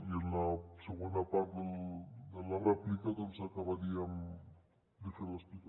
i en la segona part de la rèplica doncs acabaríem de fer l’explicació